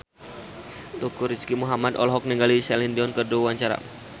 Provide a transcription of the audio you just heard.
Teuku Rizky Muhammad olohok ningali Celine Dion keur diwawancara